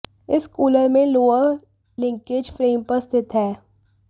इस कूलर में lower linkage frame पर स्थित है